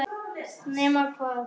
Nema hvað!